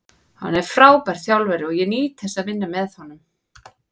Hann er frábær þjálfari og ég nýt þess að vinna með honum.